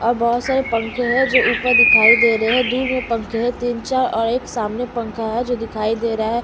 और बहुत सारे पंखे हैं जो ऊपर दिखाई दे रहे हैं दूर में पंखे हैं तीन चार और एक सामने पंखा है जो दिखाई दे रहा है.